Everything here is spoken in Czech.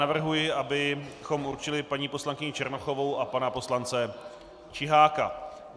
Navrhuji, abychom určili paní poslankyni Černochovou a pana poslance Čiháka.